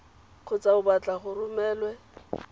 kgotsa o batla e romelwe